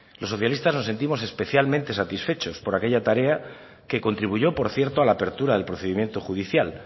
los socialista no sentimos especialmente satisfechos por aquella tarea que contribuyó por cierto a la apertura del procedimiento judicial